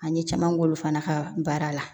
An ye caman k'olu fana ka baara la